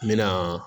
N mɛna